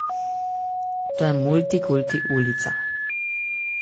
To je multikulti ulica.